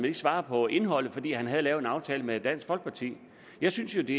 ikke svare på indholdet fordi han havde lavet en aftale med dansk folkeparti jeg synes jo det